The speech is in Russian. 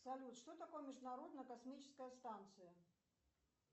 салют что такое международная космическая станция